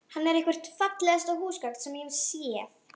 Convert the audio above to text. Hann er eitthvert fallegasta húsgagn sem ég hef séð.